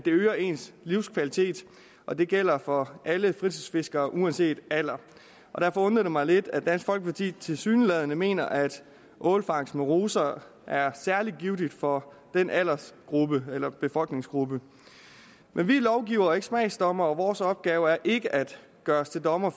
øger ens livskvalitet og det gælder for alle fritidsfiskere uanset alder derfor undrer det mig lidt at dansk folkeparti tilsyneladende mener at ålfangst med ruser er særlig givtigt for den aldersgruppe eller befolkningsgruppe men vi er lovgivere og ikke smagsdommere og vores opgave er ikke at gøre os til dommer